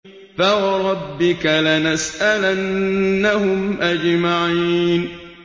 فَوَرَبِّكَ لَنَسْأَلَنَّهُمْ أَجْمَعِينَ